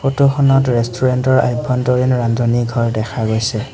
ফটোখনত ৰেষ্টুৰেন্টৰ আভ্যন্তৰীণ ৰান্ধনি ঘৰ দেখা গৈছে।